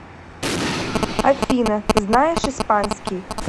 афина знаешь испанский